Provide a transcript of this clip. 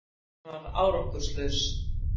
Hann varð árangurslaus